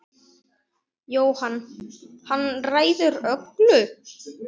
Jóhann: Hann ræður öllu?